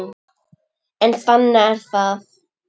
En þannig er það.